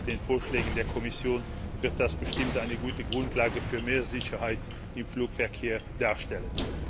Zusammen mit den Vorschlägen der Kommission wird dies bestimmt eine gute Grundlage für mehr Sicherheit im Flugverkehr darstellen.